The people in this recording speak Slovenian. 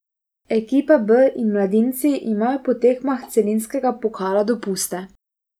Ekipa B in mladinci imajo po tekmah celinskega pokala dopuste.